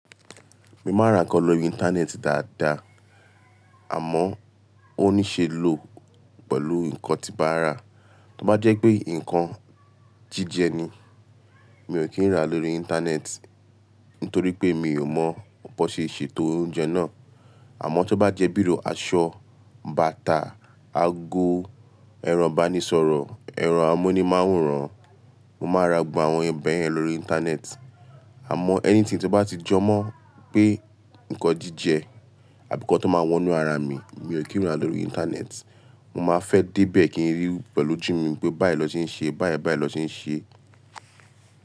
Mo máa ra nǹkan lórí internet dáadáa, àmọ́ ó ní ṣe lò pẹ̀lú nǹkan tí n baa rà. Tí ó bá jẹ́ pé nǹkan jíjẹ ni, mi ò kí n rà lórí internet, nítorí pé mi ò mọ bọ ṣe èsè tó oúnjẹ náà. Àmọ́ tí ó bá jẹ́ bíi iru aṣọ, bàtà, ago, ẹrọ ìbánisọ̀rọ̀, ẹrọ amúnimáwòrán, mo máa ra gbogbo àwọn bẹ́ yẹn lórí internet. Àmọ́ anything to bá ti jọ mọ̀ pé nǹkan jíjẹ àbí ko tó máa wọnú ara mi, mi ò kí n rà lórí internet. Mo máa fẹ́ dé bẹ̀ kí n rí i pẹ̀lú ojú mi pé báyi lọ wọn n ṣe ṣe, báyi báyi ni wọn ṣe n ṣe.